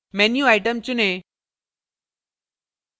menu item चुनें